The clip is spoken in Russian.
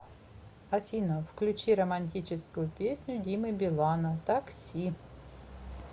афина включи романтическую песню димы билана такси